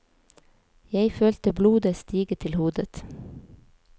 Jeg følte blodet stige til hodet.